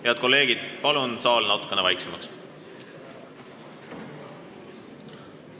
Head kolleegid, palun saalis natukene vaiksemad olla!